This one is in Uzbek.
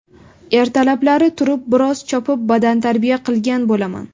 Ertalablari turib, biroz chopib, badantarbiya qilgan bo‘laman.